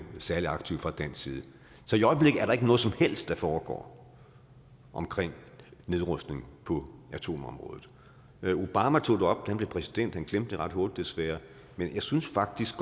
særlig aktiv fra dansk side så i øjeblikket er der ikke noget som helst der foregår omkring nedrustning på atomområdet obama tog det op da han blev præsident han glemte det ret hurtigt desværre men jeg synes faktisk